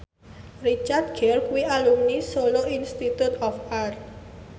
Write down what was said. Richard Gere kuwi alumni Solo Institute of Art